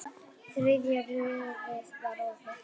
Þriðja rörið var opið.